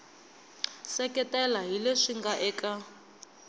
seketela hi leswi nga eka